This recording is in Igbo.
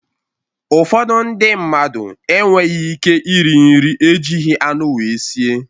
Ụfọdụ ndị mmadụ enweghị ike iri nri ejighị anụ wee sie.